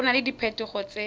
go na le diphetogo tse